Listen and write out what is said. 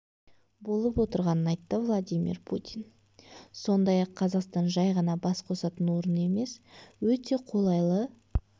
болып отырғанын айтты владимир путин сондай-ақ қазақстан жай ғана бас қосатын орын емес өте қолайлы